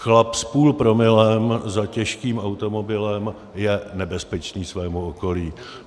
Chlap s půl promile za těžkým automobilem je nebezpečný svému okolí.